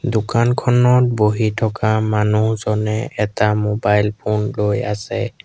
দোকানখনত বহি থকা মানুহজনে এটা মোবাইল ফোন লৈ আছে।